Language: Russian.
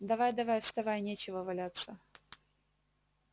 давай давай вставай нечего валяться